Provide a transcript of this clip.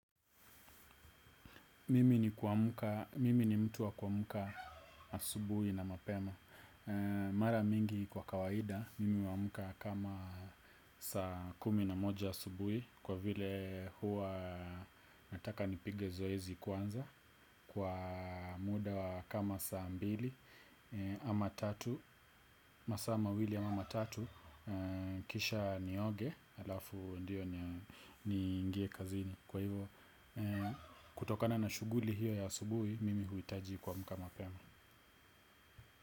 Mimi ni mtu wa kuamka asubui na mapema mara nyingi kwa kawaida mimi huamka saa kumi na moja asubuhi kwa vile mimi hupiga zoezi kwanza kwa muda kama masaa mawili ama matatu kisha nioge, alafu ndio niingie kazini. Kwa hivyo, kutokana na shughuli hiyo ya asubui, mimi huhitaji kuamka mapema.